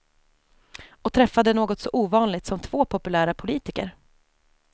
Och träffade något så ovanligt som två populära politiker.